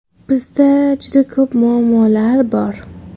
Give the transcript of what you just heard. Bizda juda ko‘p muammolar bor.